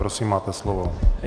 Prosím, máte slovo.